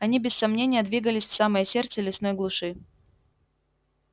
они без сомнения двигались в самое сердце лесной глуши